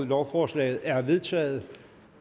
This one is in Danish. lovforslaget er vedtaget